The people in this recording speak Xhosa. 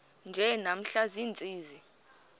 nje namhla ziintsizi